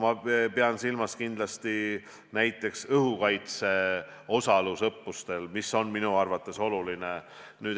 Ma pean silmas näiteks õhukaitse osalust õppustel, mis on minu arvates oluline.